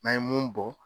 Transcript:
N'an ye mun bɔ